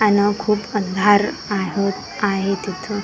आन खूप अंधार आहत आहे तिथ .